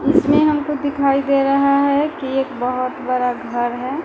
इसमें आपको दिखाई दे रहा है कि एक बहुत बड़ा घर है ।